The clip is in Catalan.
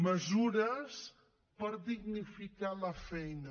mesures per dignificar la feina